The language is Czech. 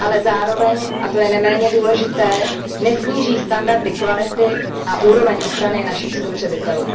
ale zároveň a to je neméně důležité nesníží standardy kvality a úroveň ochrany našich spotřebitelů.